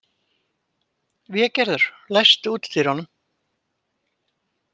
Végerður, læstu útidyrunum.